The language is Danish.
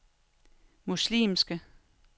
muslimske